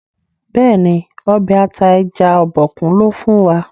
béèni Ọbẹ̀ ata ẹja Obokun lò fún wa.